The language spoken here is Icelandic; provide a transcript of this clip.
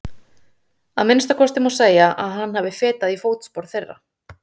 Að minnsta kosti má segja að hann hafi fetað í fótspor þeirra.